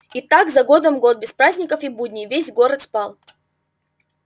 и так за годом год без праздников и будней весь город спал